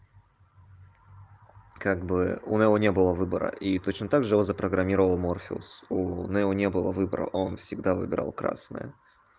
как бы у нео не было выбора и точно также его запрограммировал морфеус у нео не было выбора он всегда выбирал красное